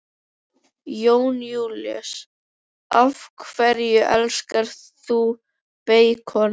Jón Júlíus: Af hverju elskar þú beikon?